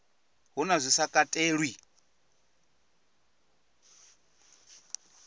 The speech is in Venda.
hu na zwi sa katelwi